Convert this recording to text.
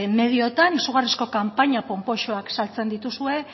medioetan izugarrizko kanpaina panpoxoak saltzen dituzue